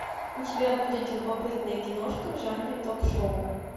у тебя будет любопытная киношка в жанре ток шоу